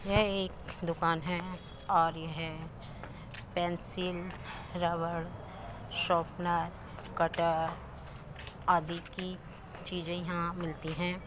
यह एक दुकान है और यह पेंसिल रबर शोपनर कट्टर आदि की चीजे यहां मिलती हैं।